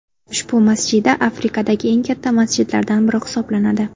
Ushbu masjida Afrikadagi eng katta masjidlardan biri hisoblanadi.